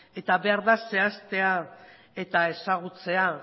eta behar da zehaztea eta ezagutzea